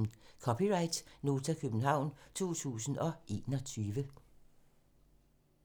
(c) Nota, København 2021